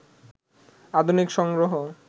আধুনিক সংগ্রহ